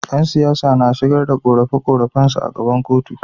Yan siyasa na shigar da qorafe qorafe su a gaban kotu